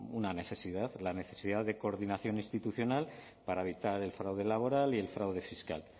una necesidad la necesidad de coordinación institucional para evitar el fraude laboral y el fraude fiscal